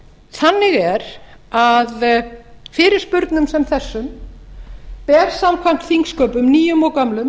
þannig er að fyrirspurnum sem þessum ber samkvæmt þingsköpum nýjum og gömlum